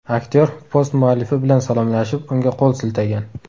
Aktyor post muallifi bilan salomlashib, unga qo‘l siltagan.